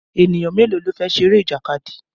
Ènìyàn mélòó ló fẹ́ ṣeré ìjàkadì?